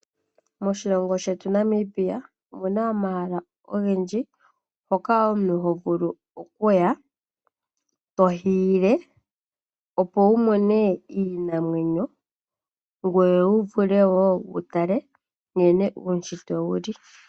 Moshilongo shetu Namibia omu na omahala ogendji hoka omuntu ho vulu okuya to hiile, opo wu mone iinamwenyo ngoye wu vule wo wu tale nkene uunshitwe wu li.